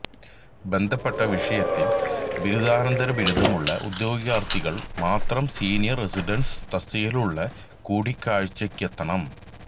ബന്ധപ്പെട്ട വിഷയത്തില് ബിരുദാനന്തര ബിരുദമുള്ള ഉദ്യോഗാര്ത്ഥികള് മാത്രം സീനിയര് റസിഡന്റ് തസ്തികയ്ക്കുള്ള കൂടികാഴ്ചയ്ക്കെത്തണം